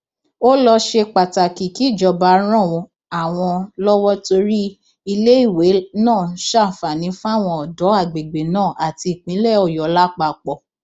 ó lọ ṣe pàtàkì kíjọba ran àwọn lọwọ torí iléèwé náà ṣàǹfààní fáwọn ọdọ àgbègbè náà àti ìpínlẹ ọyọ lápapọ